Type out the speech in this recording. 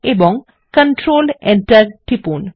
এবং control Enter টিপুন